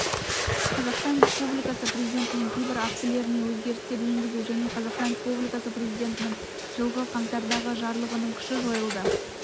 қазақстан республикасы президентінің кейбір актілеріне өзгерістер енгізу және қазақстан республикасы президентінің жылғы қаңтардағы жарлығының күші жойылды